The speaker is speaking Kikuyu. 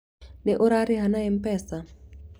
Nĩ ũrarĩha na M-Pea?